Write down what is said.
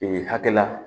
Ee hakɛ la